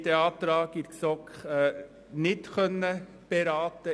Wir konnten diesen in der GSoK nicht beraten.